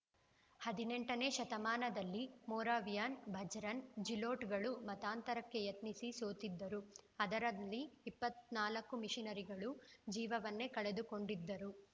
ಹದಿನೆಂಟನೇ ಶತಮಾನದಲ್ಲಿ ಮೊರವಿಯನ್‌ ಚಚ್‌ರ್‍ನ ಝಿಲೋಟ್‌ಗಳೂ ಮತಾಂತರಕ್ಕೆ ಯತ್ನಿಸಿ ಸೋತಿದ್ದರು ಅದರಲ್ಲಿ ಇಪ್ಪತ್ತ್ ನಾಲ್ಕು ಮಿಷನರಿಗಳು ಜೀವವನ್ನೇ ಕಳೆದುಕೊಂಡಿದ್ದರು